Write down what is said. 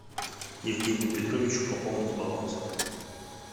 евгению петровичу пополнить баланс